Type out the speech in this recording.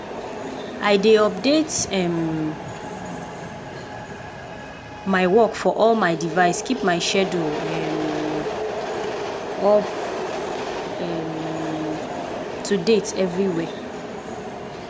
i dey update um my work for all my device keep my schedule um up um to date everywhere.